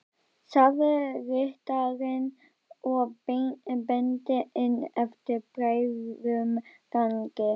sagði ritarinn og benti inn eftir breiðum gangi.